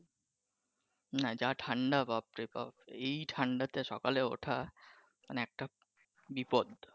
না, যা ঠাণ্ডা বাপরে বাপ এই ঠাণ্ডাতে সকালে উঠা মানে একটা বিপদ ।